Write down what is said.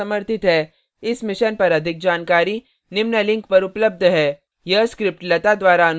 इस mission पर अधिक जानकारी निम्न लिंक पर उपलब्ध है